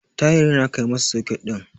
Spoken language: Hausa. Tahir yana kai masa soket din.